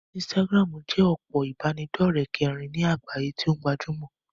Instagram jẹ́ òpó ìbánidọ́rẹ̀ kẹrin ní àgbáyé tí o gbajúmọ̀.